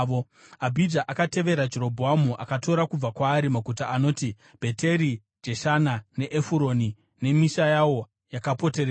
Abhija akatevera Jerobhoamu akatora kubva kwaari maguta anoti Bheteri, Jeshana, neEfuroni nemisha yawo yakapoteredza.